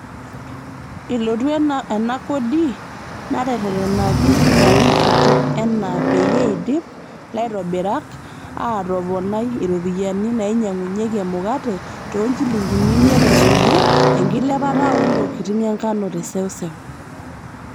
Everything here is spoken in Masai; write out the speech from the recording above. Elotu ena kodi nateretenaki larin kutik enaa peyie eidip laitobirak aatoponai iropiyiani naainyangunyiaki emukate toonjilingini imiet esuju enkilepata oontokitin enkanu teseuseu.